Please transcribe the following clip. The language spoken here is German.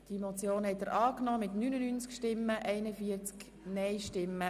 Sie haben diese Motion angenommen.